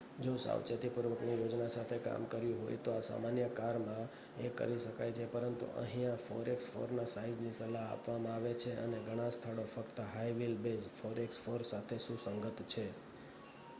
જો સાવચેતીપૂર્વકની યોજના સાથે કામ કર્યું હોય તો આ સામાન્ય કારમાં એ કરી શકાય છે પરંતુ અહિયાં 4x4ના સાઇઝની સલાહ આપવામાં આવે છે અને ઘણા સ્થળો ફક્ત હાઇ વ્હીલ બેઝ 4x4 સાથે સુસંગત છે